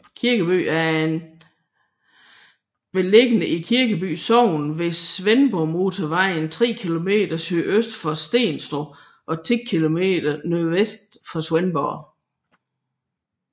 Kirkeby er beliggende i Kirkeby Sogn ved Svendborgmotorvejen tre kilometer sydøst for Stenstrup og 10 kilometer nordvest for Svendborg